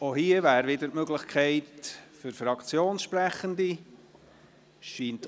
Auch hier besteht die Möglichkeit, dass sich Fraktionssprechende äussern können.